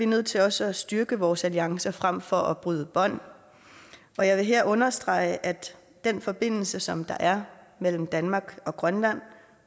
nødt til også at styrke vores alliance frem for at bryde bånd og jeg vil her understrege at den forbindelse som der er mellem danmark og grønland